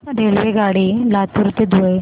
रेल्वेगाडी लातूर ते धुळे